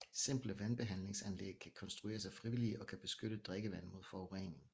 Simple vandbehandlingsanlæg kan konstrueres af frivillige og kan beskytte drikkevand mod forurening